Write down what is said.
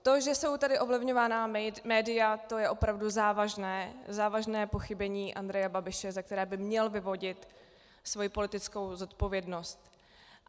To, že jsou tady ovlivňována média, to je opravdu závažné pochybení Andreje Babiše, z kterého by měl vyvodit svoji politickou zodpovědnost.